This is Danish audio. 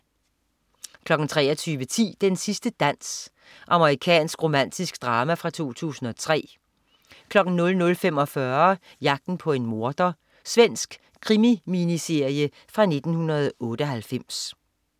23.10 Den sidste dans. Amerikansk romantisk drama fra 2003 00.45 Jagten på en morder. Svensk krimi-miniserie fra 1998